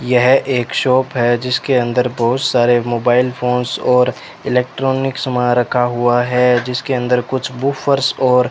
यह एक शॉप है जिसके अंदर बहोत सारे मोबाइल फोन्स और इलेक्ट्रॉनिक समान रखा हुआ है जिसके अंदर कुछ बुफर्स और --